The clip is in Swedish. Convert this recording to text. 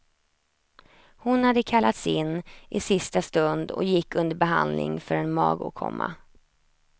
Hon hade kallats in i sista stund och gick under behandling för en magåkomma.